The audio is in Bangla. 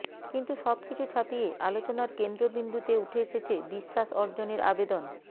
কিন্তু সব কিছু ছাপিয়ে আলোচনার কেন্দ্রবিন্দুতে উঠে এসেছে বিশ্বাস অর্জনের আবেদন